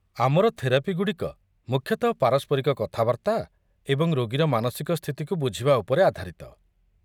ଆମର ଥେରାପି ଗୁଡ଼ିକ ମୁଖ୍ୟତଃ ପାରସ୍ପରିକ କଥାବାର୍ତ୍ତା ଏବଂ ରୋଗୀର ମାନସିକ ସ୍ଥିତିକୁ ବୁଝିବା ଉପରେ ଆଧାରିତ।